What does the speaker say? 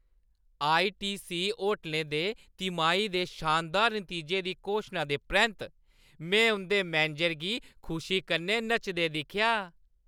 ITC होटलै दे तिमाही दे शानदार नतीजें दी घोशना दे परैंत्त में उं'दे मैनेजर गी खुशी कन्नै नचदे दिक्खेआ।